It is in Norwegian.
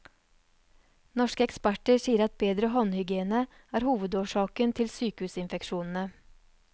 Norske eksperter sier at bedre håndhygiene er hovedårsaken til sykehusinfeksjonene.